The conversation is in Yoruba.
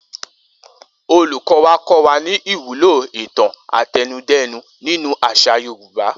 Olùkó̩ wa kó̩ wa ní ìwúlò ìtàn àtẹnudẹ́nu nínú às̩à Yorùbá